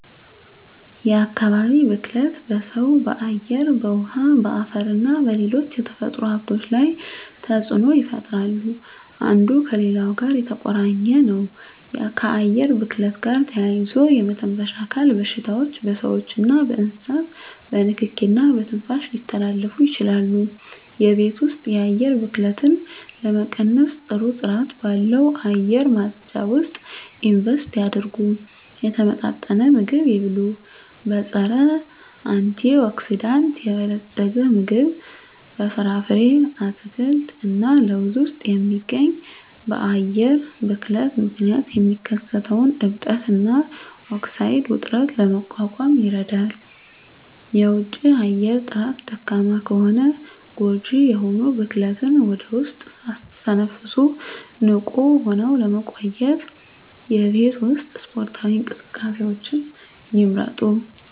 የአካባቢ ብክለት በሰው በአየር በውሀ በአፈርና በሌሎች የተፈጥሮ ሀብቶች ላይ ተፅኖ ይፈጥራሉ አንዱ ከሌላው ጋር የተቆራኘ ነው ከአየር ብክለት ጋር ተያይዞ የመተንፈሻ አካል በሽታዎች በስዎችና በእንስሳት በንኪኪ እና በትንፋሽ ሊተላለፉ ይችላሉ የቤት ውስጥ የአየር ብክለትን ለመቀነስ ጥሩ ጥራት ባለው አየር ማጽጃ ውስጥ ኢንቨስት ያድርጉ። የተመጣጠነ ምግብ ይብሉ; በፀረ-አንቲኦክሲዳንት የበለፀገ ምግብ (በፍራፍሬ፣ አትክልት እና ለውዝ ውስጥ የሚገኝ) በአየር ብክለት ምክንያት የሚከሰተውን እብጠት እና ኦክሳይድ ውጥረትን ለመቋቋም ይረዳል። የውጪ አየር ጥራት ደካማ ከሆነ ጎጂ የሆኑ ብክለትን ወደ ውስጥ ሳትተነፍሱ ንቁ ሆነው ለመቆየት የቤት ውስጥ ስፖርታዊ እንቅስቃሴዎችን ይምረጡ።